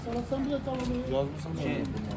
Uşaqlar, sən bunu da yazmısan?